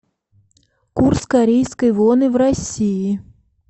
курс корейской воны в россии